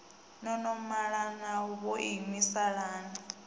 no no malana vhoinwi salani